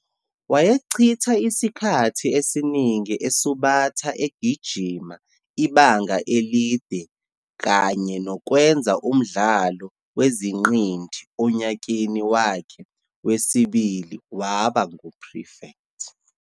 Wayechitha isikhathi esiningi esubatha egijima ibanga elide kanye nokwenza umdlalo wezingqindi, onyakeni wakhe wesibili waba ngu-prefect.